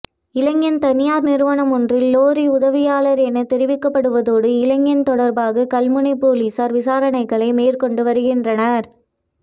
இளைஞன் தனியார் நிறுவனம் ஒன்றின் லொறி உதவியாளர் என தெரிவிக்கப்படுவதோடு இளைஞன் தொடர்பாக கல்முனை பொலஸஸார் வவிசாரணைகளை மேற்கொண்டு வருகின்றனர்